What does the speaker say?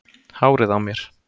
Hárið á mér?